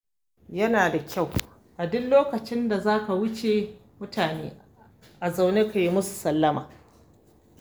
Yana da kyau a duk lokacin da za ka wuce mutane a zaune ka yi musu sallama.